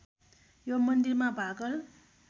यो मन्दिरमा भाकल